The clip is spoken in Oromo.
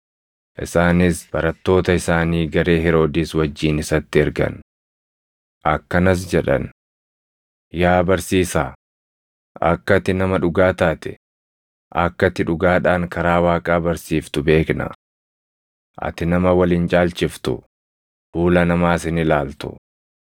Isaanis barattoota isaanii garee Heroodis wajjin isatti ergan. Akkanas jedhan; “Yaa barsiisaa, akka ati nama dhugaa taate, akka ati dhugaadhaan karaa Waaqaa barsiiftu beekna. Ati nama wal hin caalchiftu; fuula namaas hin ilaaltu.